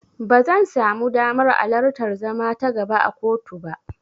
Ba zan samu damar alartar zama ta gaba a kotu ba.